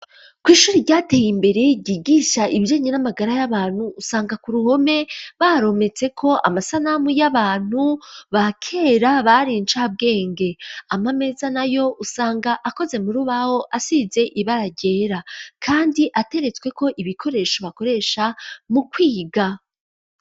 Kw'ishuri ryateye imbere ryigisha ibyenye n'amagara y'abantu usanga ku ruhome barometse ko amasanamu y'abantu bakera bari incabwenge ama meza nayo usanga akoze mu rubaho asize ibaragera kandi ateretswe ko ibikoresho bakoresha mu kwiga.